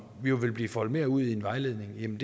vil blive foldet mere ud i en vejledning